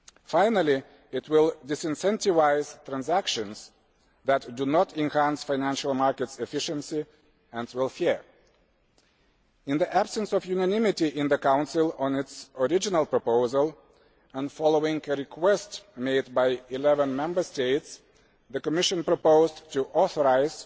Finally, it will disincentivise transactions that do not enhance financial markets' efficiency or welfare. In the absence of unanimity in the Council on its original proposal, and following a request made by 11 Member States, the Commission proposed to authorise